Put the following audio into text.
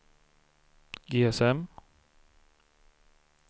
GSM